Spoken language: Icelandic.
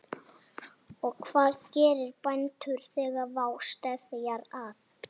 Og hvað gera bændur þegar vá steðjar að?